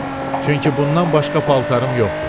Çünki bundan başqa paltarım yoxdur.